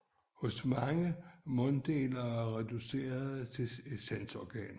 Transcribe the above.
Hos mange er munddelene reduceret til sanseorganer